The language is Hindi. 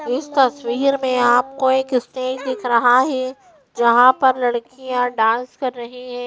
इस तस्वीर में आपको एक स्क्रीन दिख रहा है जहां पर लड़कियां डांस कर रही हैं।